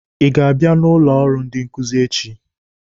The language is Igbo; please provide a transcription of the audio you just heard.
Ị ga-abịa n'ụlọ ọrụ ndị nkuzi echi?